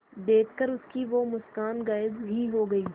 देखकर उसकी वो मुस्कान गायब ही हो गयी